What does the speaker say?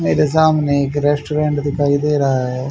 मेरे सामने एक रेस्टोरेंट दिखाई दे रहा है।